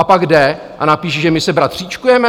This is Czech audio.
A pak jde a napíše, že my se bratříčkujeme?